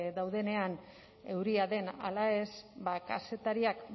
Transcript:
daudenean euria den ala ez ba kazetariak